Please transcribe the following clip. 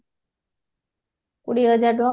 କୋଡିଏ ହଜାର ଟଙ୍କା